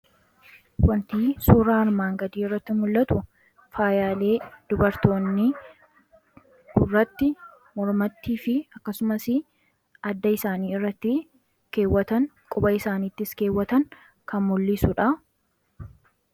wantii suuraa armaan gadii irratti mul'atu faayalee dubartoonni gurratti mormattii fi akkasumas adda isaanii irratti keewwatan quba isaaniittis keewwatan kan mullisuudha.